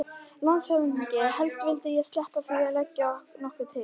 LANDSHÖFÐINGI: Helst vildi ég sleppa því að leggja nokkuð til.